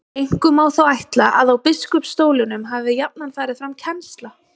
Einkum má þó ætla að á biskupsstólunum hafi jafnan farið fram kennsla.